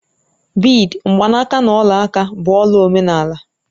Bịidi, mgbanaka na ọla aka bụ ọla omenala